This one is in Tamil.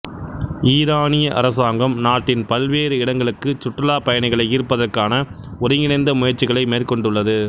ஈரானிய அரசாங்கம் நாட்டின் பல்வேறு இடங்களுக்கு சுற்றுலாப் பயணிகளை ஈர்ப்பதற்கான ஒருங்கிணைந்த முயற்சிகளை மேற்கொண்டுள்ளது